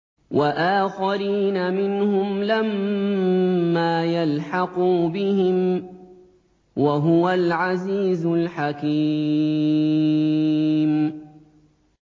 وَآخَرِينَ مِنْهُمْ لَمَّا يَلْحَقُوا بِهِمْ ۚ وَهُوَ الْعَزِيزُ الْحَكِيمُ